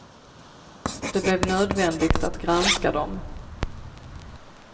Det blev nödvändigt att granska dem.